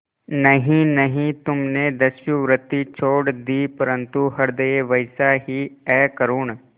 नहीं नहीं तुमने दस्युवृत्ति छोड़ दी परंतु हृदय वैसा ही अकरूण